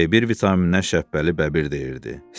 B-1 vitamininə Şəbbəli bəbir deyirdi.